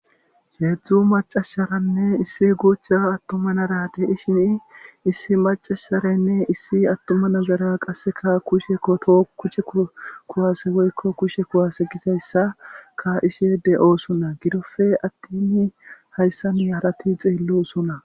Heedzdzu macasharanne issi guuchcha attumanarate ishini issi macasharanne issi attuma nazara qasseka kushekoto kuche kuwase woykko kushe kuwase gisayssa ka ishe de'oosunna gidofe attini hayssani halati xeellosonna.